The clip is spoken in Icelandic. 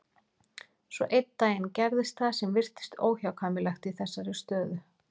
Svo einn daginn gerðist það sem virtist óhjákvæmilegt í þessari stöðu.